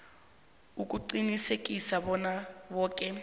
ukuqinisekisa bona boke